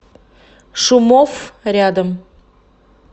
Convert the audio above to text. шумофф рядом